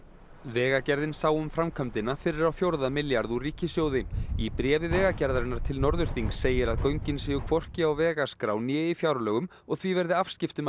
vegagerðin sá um framkvæmdina fyrir á fjórða milljarð úr ríkissjóði í bréfi Vegagerðarinnar til Norðurþings segir að göngin séu hvorki á vegaskrá né í fjárlögum og því verði afskiptum